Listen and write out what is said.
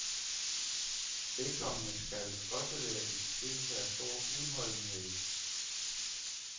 Vedkommende skal også være i besiddelse af stor udholdenhed.